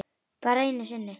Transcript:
Bara einu sinni?